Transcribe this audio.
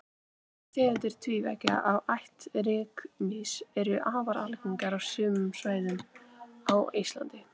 tegundir tvívængja af ætt rykmýs eru afar algengar á sumum svæðum á íslandi